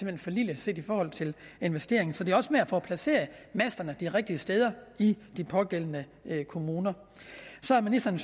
hen for lille set i forhold til investeringen så det er også med at få placeret masterne de rigtige steder i de pågældende kommuner så har ministeren